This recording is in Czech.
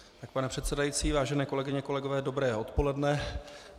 Pane předsedající, vážené kolegyně, kolegové, dobré odpoledne.